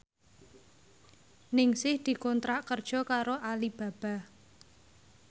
Ningsih dikontrak kerja karo Alibaba